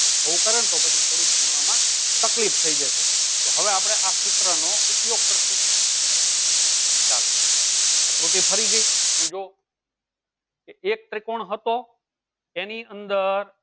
આં કરે તો ગણવામાં થોડી તકલીફ થઈ જશે તો હવે આપણે આ સૂત્રનો ઉપયોગ કરશો ચાલો આકૃતિ ફરીથી સમજો કે એક ત્રિકોણ હતો એની અંદર